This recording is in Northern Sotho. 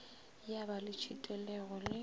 ya ba le tšhitelego le